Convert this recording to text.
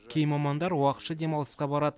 кей мамандар уақытша демалысқа барады